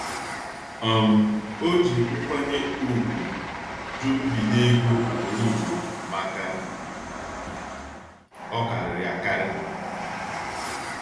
um O ji nkwanye ùgwù jụ nbinye ego ugboro ugboro maka ọkarịrị akarị.